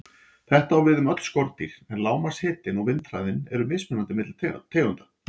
Þetta á við um öll skordýr, en lágmarkshitinn og vindhraðinn eru mismunandi milli tegunda.